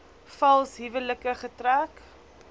vals huwelike getrek